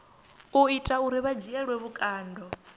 ita uri vha dzhielwe vhukando